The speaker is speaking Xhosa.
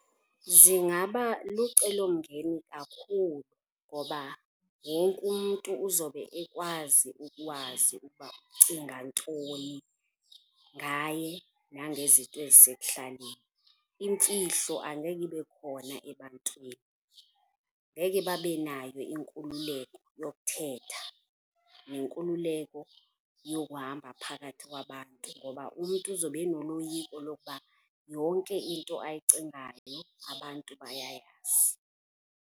Zingaba lucelomngeni kakhulu ngoba wonke umntu uzobe ekwazi ukwazi ukuba ucinga ntoni ngaye nangezinto ezisekuhlaleni, imfihlo angeke ibe khona ebantwini. Ngeke babe nayo inkululeko yokuthetha nenkululeko yokuhamba phakathi kwabantu ngoba umntu uzobe enoloyiko lokuba yonke into ayicingayo abantu bayayazi.